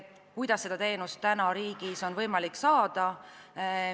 Kuidas seda teenust on võimalik praegu saada?